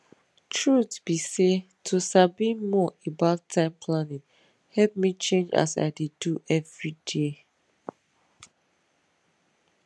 truth be say to sabi more about time planning help me change as i dey do everyday